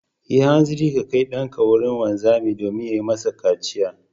Yi hanzarin kai ɗanka wurin wanzami domin ya yi masa kaciya.